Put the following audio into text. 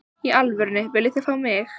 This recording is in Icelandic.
Í alvörunni, viljið þið fá mig?